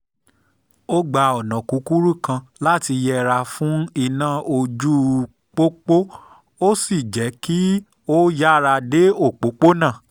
ó gba ọ̀nà kúkúrú kan láti yẹra fún iná ojú-pópó ó sì jẹ́ kó yára dé òpópónà